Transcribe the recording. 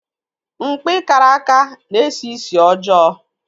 Mkpi karaka na-esi ísì ọjọọ.